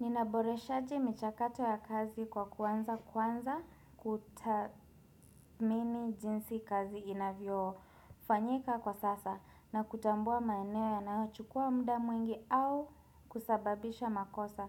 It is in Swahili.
Ninaboreshaje michakato ya kazi kwa kuanza, kwanza kutathmini jinsi kazi inavyofanyika kwa sasa na kutambua maeneo yanayochukua muda mwingi au kusababisha makosa.